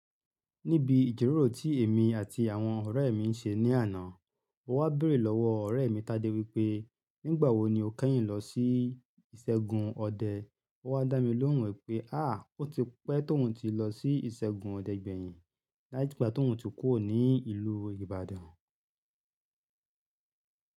Níbi ijiroro tí èmi àti àwọn ọ̀rẹ́ mi ń ṣe ní àná, mo wá béèrè lọ́wọ́ ọ̀rẹ́ mi Tade wípé, "Nígbà wo ni o kẹ́yìn lọ sí ìṣègùn ọdẹ?" Ó wá dá mi lóhùn wípé, "Àá, ó ti pẹ́ tí òun ti lọ sí ìṣègùn ọdẹ gbẹ̀yìn, láti ìgbà tí òun ti kúrò ní ìlú Ibadan."